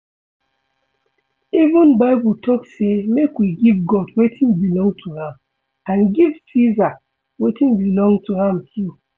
Even bible talk say make we give God wetin belong to am and give Ceasar wetin belong to am too